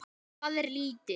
Það er lítið